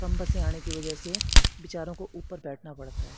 कम बसे आडे की वजह से विचारों को ऊपर बैठना पड़ता--